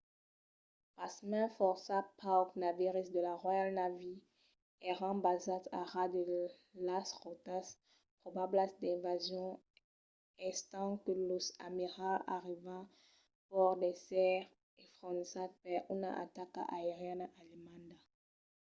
pasmens fòrça paucs naviris de la royal navy èran basats a ras de las rotas probablas d'invasion estent que los amiralhs avián paur d'èsser enfonzats per una ataca aeriana alemanda